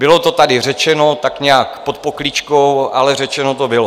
Bylo to tady řečeno tak nějak pod pokličkou, ale řečeno to bylo.